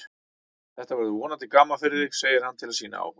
Þetta verður vonandi gaman fyrir þig, segir hann til að sýna áhuga.